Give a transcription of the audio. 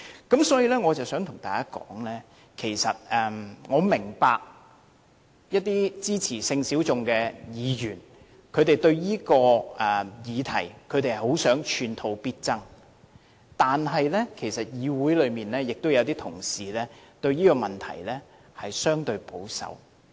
因此，我想對大家說的是其實我明白一些支持性小眾的議員想就這項議題寸土必爭，但其實議會內亦有同事對這個問題相對保守。